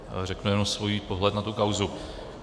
Řeknu jen svůj pohled na tu kauzu.